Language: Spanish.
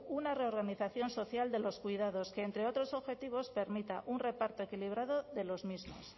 una reorganización social de los cuidados que entre otros objetivos permita un reparto equilibrado de los mismos